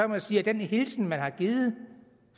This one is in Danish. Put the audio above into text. man sige at den hilsen der er givet